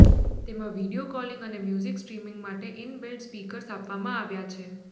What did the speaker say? તેમાં video calling અને music streaming માટે ઈન બિલ્ટ સ્પીકર્સ આપવામ આવ્યા છે